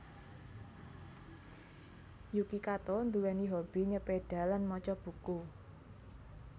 Yuki Kato nduwèni hobi nyepeda lan maca buku